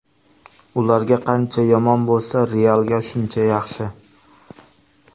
Ularga qancha yomon bo‘lsa, ‘Real’ga shuncha yaxshi.